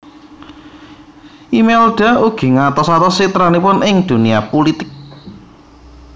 Imelda ugi ngatos atos citranipun ing dunia pulitik